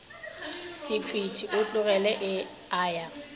sekhwiti o tlogile a ya